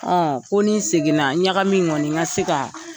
Ɔ ko ni n seginna ɲaga min kɔni n ka se ka